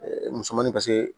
musomanin ka se